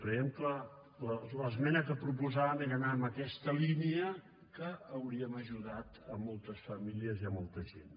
creiem que l’esmena que proposàvem era anar en aquesta línia i hauríem ajudat moltes famílies i molta gent